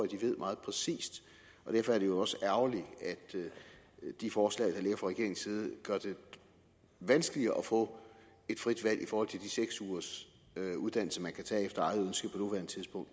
de ved meget præcist derfor er det jo også ærgerligt at de forslag regeringens side gør det vanskeligere at få et frit valg i forhold til de seks ugers uddannelse man kan tage efter eget ønske